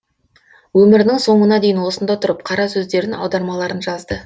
өмірінің соңына дейін осында тұрып қара сөздерін аудармаларын жазды